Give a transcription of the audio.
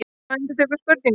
Þú endurtekur spurninguna.